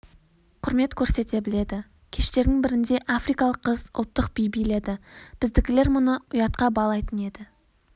құрмет көрсете біледі кештердің бірінде африкалық қыз ұлттық би биледі біздікілер мұны ұятқа балайтын еді